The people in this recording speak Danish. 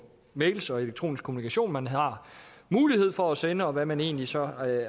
mails og elektronisk kommunikation som man har mulighed for at sende og hvad man egentlig så